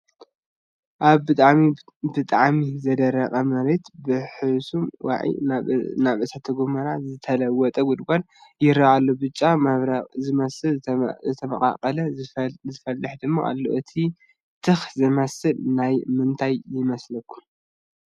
ኣብ ብጣዕሚ ብጣዕሚ ዝደረቐ መሬት ብሕሱም ዋዒ ናብ እሳተ ጎመራ ዝተለወጠ ጉድጓድ ይረአ ኣሎ፡፡ ብጫን መብረቕን ዝመስል፣ ዝተመቓቐለን ዝፈልሕን ድማ ኣለዎ፡፡ እቲ ትኪ ዝመስል ከ ናይ ምንታይ ይመስለኩም?